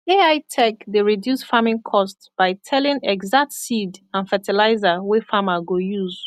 ai tech dey reduce farming cost by telling exact seed and fertilizer wey farmer go use